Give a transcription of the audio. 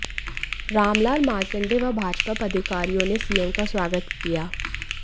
रामलाल मार्कंडेय व भाजपा पदाधिकारियों ने सीएम का स्वागत किया